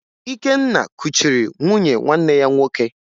Ikenna kuchiri nwunye nwanne ya nwoke